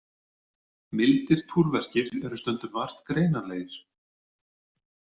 Mildir túrverkir eru stundum vart greinanlegir.